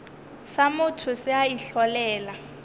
sa motho se a itlholela